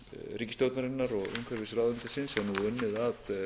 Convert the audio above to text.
ríkisstjórnarinnar og umhverfisráðuneytisins er nú unnið að